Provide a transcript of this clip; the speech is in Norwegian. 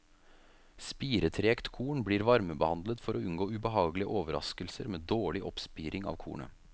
Spiretregt korn blir varmebehandlet for å unngå ubehagelige overraskelser med dårlig oppspiring av kornet.